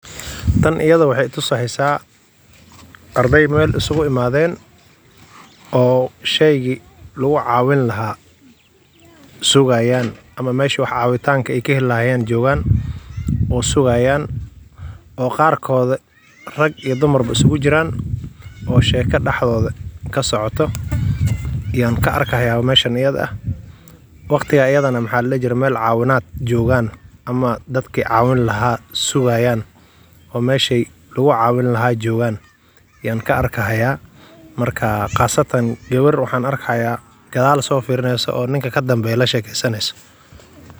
Tan iyada wexey tuseysa ardey meel iskugu imaden oo sheygi lugucawini laha sugayan ama meeshi cawitanka ey kaheli lahayen jogan oo sugayn oo qarkoda rag iyo dumar iskugujiran oo sheko dhexdoda kasocoto ayan kaaki haya meeshan iyada ah, waqtiga iyada jogan meel cawin oo dadki cawin laha sugayan oo meshey lugucqwini jogan ayan kaarka marka qasatan gawar waxan arkaya gadal sifirineyso oo ninka kadambeyo lashekeysaneyso.